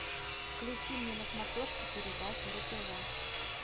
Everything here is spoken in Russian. включи мне на смотрешке передачу ру тв